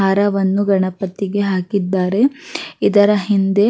ಹಾರವನ್ನು ಗಣಪತಿಗೆ ಹಾಕಿದ್ದಾರೆ ಇದರ ಹಿಂದೆ-